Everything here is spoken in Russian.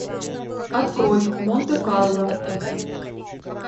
открой монте карло